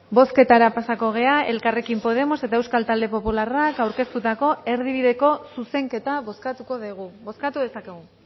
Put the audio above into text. bozketara pasako gara elkarrekin podemos eta euskal talde popularrak aurkeztutako erdibideko zuzenketa bozkatuko dugu bozkatu dezakegu